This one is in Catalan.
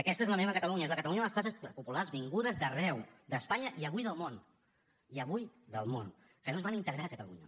aquesta és la meva catalunya és la catalunya de les classes populars vingudes d’arreu d’espanya i avui del món i avui del món que no es van integrar a catalunya